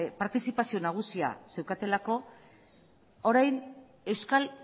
partizipazio nagusia zeukatelako orain euskal